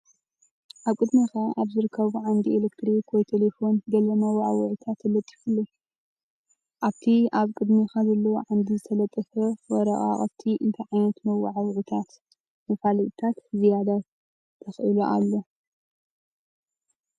ኣብ ቅድሜኻ ኣብ ዝርከብ ዓንዲ ኤሌክትሪክ ወይ ቴሌፎን ገለ መወዓውዒታት ተለጢፉ ኣሎ። ኣብቲ ኣብ ቅድሜኻ ዘሎ ዓንዲ ዝተለጠፈ ወረቓቕቲ እንታይ ዓይነት መወዓውዒታት/መፋለጢታት ዝያዳ ተኽእሎ ኣሎ?